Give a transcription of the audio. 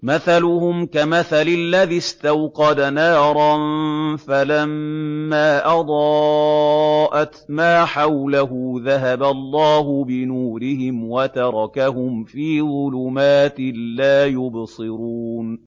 مَثَلُهُمْ كَمَثَلِ الَّذِي اسْتَوْقَدَ نَارًا فَلَمَّا أَضَاءَتْ مَا حَوْلَهُ ذَهَبَ اللَّهُ بِنُورِهِمْ وَتَرَكَهُمْ فِي ظُلُمَاتٍ لَّا يُبْصِرُونَ